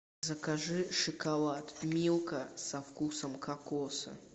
закажи шоколад милка со вкусом кокоса